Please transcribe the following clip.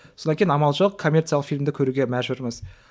содан кейін амал жоқ коммерциялық фильмді көруге мәжбүрміз